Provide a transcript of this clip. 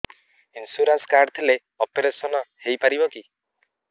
insurance card ଥିଲେ operation ହେଇପାରିବ କି